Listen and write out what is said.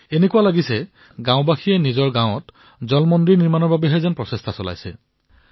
এনেকুৱা লাগিছে যে গাঁৱৰ জনতাই এতিয়া নিজৰ গাঁৱত জল মন্দিৰ নিৰ্মাণৰ প্ৰতিযোগিতাত নামি পৰিছে